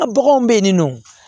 A baganw bɛ yen nin nɔ